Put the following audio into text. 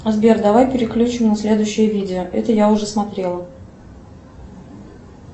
сбер давай переключим на следующее видео это я уже смотрела